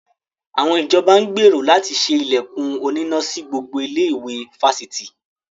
Àwọn ìjọba ń gbèrò láti ṣe ilẹ̀kùn oníná sí gbogbo ilé-ìwé fásitì.